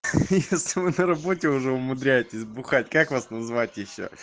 ха-ха если вы на работе уже умудряетесь бухать как вас называть ещё